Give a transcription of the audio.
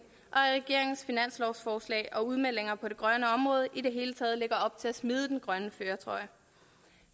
at regeringens finanslovsforslag og udmeldinger på det grønne område i det hele taget lægger op til at vi smider den grønne førertrøje